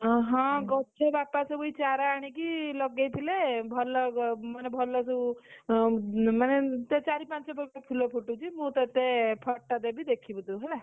ଅଁ ହଁ, ଗଛ, ବାପା ସବୁ ଏଇ ଚାରା ଆଣିକି ଲଗେଇଥିଲେ ଭଲ ମାନେ ଭଲସବୁ, ମାନେ ଚାରି ପାଞ୍ଚ ପ୍ରକାର ଫୁଲ ଫୁଟୁଛି ମୁଁ ତୋତେ photo ଦେବି ଦେଖିବୁ ତୁ ହେଲା।